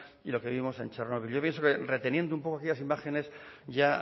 y lo que vimos en chernóbil yo pienso que reteniendo un poco aquellas imágenes ya